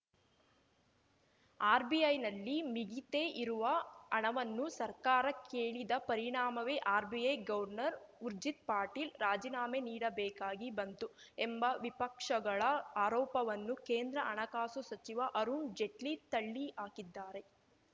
ಆರ್‌ಬಿಐನಲ್ಲಿ ಮಿಗಿತೆ ಇರುವ ಹಣವನ್ನು ಸರ್ಕಾರ ಕೇಳಿದ ಪರಿಣಾಮವೇ ಆರ್‌ಬಿಐ ಗವರ್ನರ್‌ ಊರ್ಜಿತ್‌ ಪಟೇಲ್‌ ರಾಜೀನಾಮೆ ನೀಡಬೇಕಾಗಿ ಬಂತು ಎಂಬ ವಿಪಕ್ಷಗಳ ಆರೋಪವನ್ನು ಕೇಂದ್ರ ಹಣಕಾಸು ಸಚಿವ ಅರುಣ್‌ ಜೇಟ್ಲಿ ತಳ್ಳಿಹಾಕಿದ್ದಾರೆ